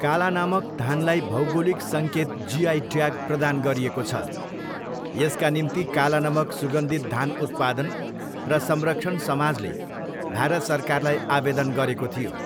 कालानमक धानलाई भौगोलिक सङ्केत जिआई ट्याग प्रदान गरिएको छ, यसका निम्ति कालानाक सुगन्धित धान उत्पादन र संरक्षण समाजले भारत सरकारलाई आवेदन गरेको थियो।